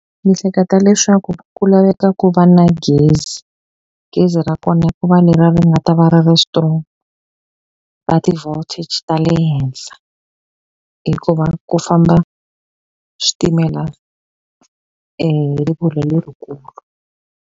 Ni hleketa leswaku ku laveka ku va na gezi gezi ra kona ku va leriya ri nga ta va ri ri strong ra ti-voltage ta le henhla hikuva ku famba switimela hi rivilo lerikulu.